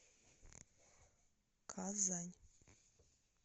казань